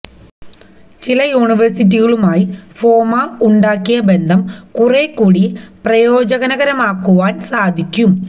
ചില യുണിവേഴ്സിറ്റികളുമായി ഫോമാ ഉണ്ടാക്കിയ ബന്ധം കുറെക്കൂടി പ്രയോജനകരമാക്കുവാന് സാധിക്കും